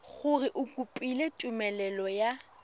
gore o kopile tumelelo ya